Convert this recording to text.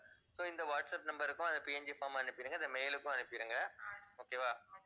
so இந்த WhatsApp number க்கும் அந்த PNGform அனுப்பிடுங்க. இந்த mail உக்கும் அனுப்பிடுங்க okay வா